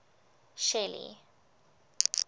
shelly